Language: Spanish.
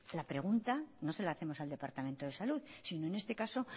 la pregunta no se la hacemos al departamento de salud sino en este caso